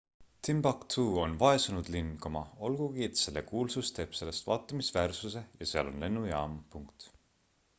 timbuktu on vaesunud linn olgugi et selle kuulsus teeb sellest vaatamisväärsuse ja seal on lennujaam